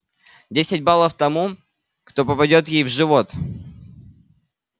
десять баллов тому кто попадёт ей в живот